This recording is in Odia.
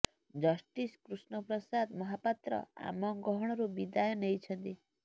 ଜଷ୍ଟିସ୍ କୃଷ୍ଣ ପ୍ରସାଦ ମହାପାତ୍ର ଆମ ଗହଣରୁ ବିଦାୟ ନେଇଛନ୍ତି